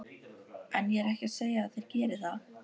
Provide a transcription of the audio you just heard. En ég er ekki að segja að þeir geri það.